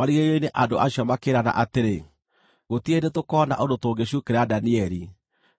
Marigĩrĩrio-inĩ andũ acio makĩĩrana atĩrĩ, “Gũtirĩ hĩndĩ tũkoona ũndũ tũngĩcuukĩra Danieli,